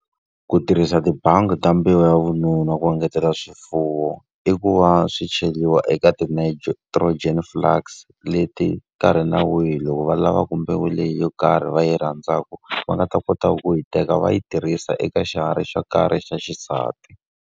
Ku tirhisa tibangi ta mbewu ya vununa ku engetela swifuwo, i ku va swi cheriwa eka ti-nitrogen flux. Leti nkarhi na wihi loko va lavaku mbewu leyi yo karhi va yi rhandzaka, va nga ta kota ku yi teka va yi tirhisa eka xiharhi xo karhi xa xisati.